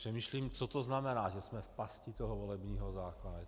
Přemýšlím, co to znamená, že jsme v pasti toho volebního zákona.